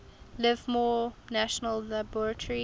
livermore national laboratory